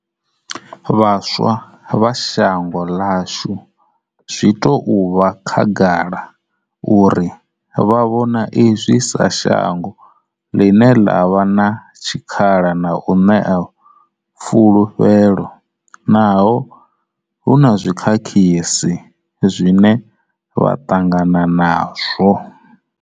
Vhaswa vha shango ḽashu zwi tou vha khagala uri vha vhona izwi sa shango ḽine ḽa vha na tshikhala na u ṋea fulufhelo, naho hu na zwi khakhisi zwine vha ṱangana nazwo.